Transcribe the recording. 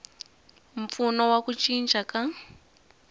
mpfuno wa ku cinca ka